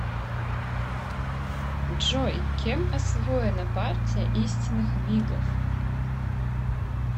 джой кем освоена партия истинных вигов